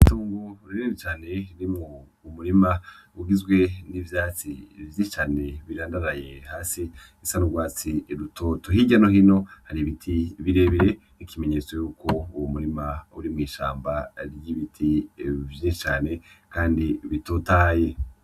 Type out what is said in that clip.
Itongo rinini cane ririmwo umurima ugizwe n'ivyatsi vyinshi cane birandaraye hasi bisa n'ugwatsi rutoto. Hirya no hino hari ibiti birebire nk'ikimenyetso yuko uwo murima uri mw'ishamba ry'ibiti vyinshi cane Kandi bitotahaye.